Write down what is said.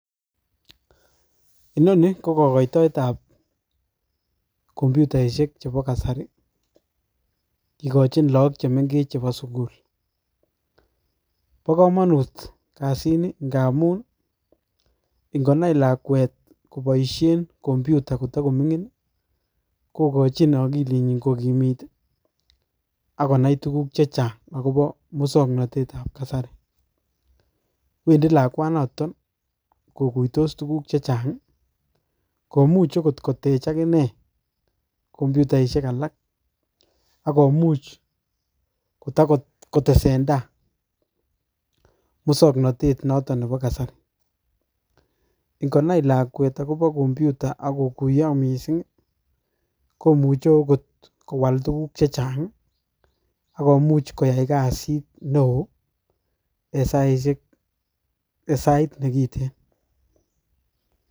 Inoni ko kokoitoet ab computaisiek chebo kasari, kikochin lagok chemeng'ech chebo sugul. Bo komonut kasini ng'amun, ing'onai lakwet koboisien computer kotagoming'in, kogochin okiilit nyin kogimit akonai tuguk chechang' akobo musoknotet ab kasari. Wendi lakwanatok koguitos tuguk chechang' komuch akot kotech agine computaisiek alak akomuch kotakotesenda musoknotet notok nebo kasari. Ngonai lakwet computer akokuyo mising komuche okot kowal tuguk chechang' akomuch kotai kasit newo en sait negiten.